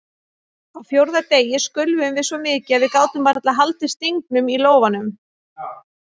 Á fjórða degi skulfum við svo mikið að við gátum varla haldið stingnum í lófanum.